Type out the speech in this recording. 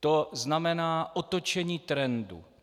To znamená otočení trendu.